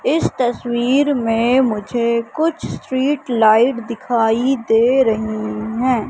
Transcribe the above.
इस तस्वीर में मुझे कुछ स्ट्रीट लाइट दिखाई दे रही हैं।